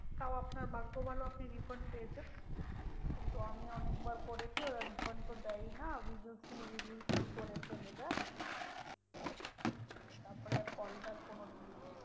তাও আপনার ভাগ্য ভালো যে আপনি refund পেয়েছেন। কিন্তু আমি অনেকবার করেছি ওরা refund তো দেয়ই না we will see we will see করে ফেলে দেয়। তারপরে আর কল back কোনোদিনই আসে না।